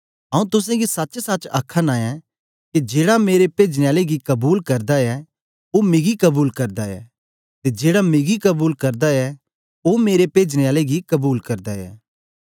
आऊँ तुसेंगी सचसच आखाना ऐं के जेड़ा मेरे पेजने आले गी कबूल करदा ऐ ओ मिगी कबूल करदा ऐ ते जेड़ा मिगी कबूल करदा ऐ ओ मेरे पेजने आले गी कबूल करदा ऐ